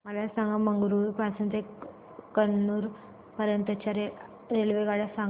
मला मंगळुरू पासून तर कन्नूर पर्यंतच्या रेल्वेगाड्या सांगा